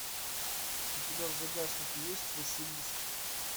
у тебя в загашнике есть василиск